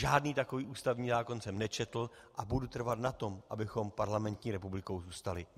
Žádný takový ústavní zákon jsem nečetl a budu trvat na tom, abychom parlamentní republikou zůstali.